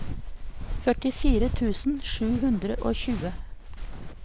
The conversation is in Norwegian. førtifire tusen sju hundre og tjue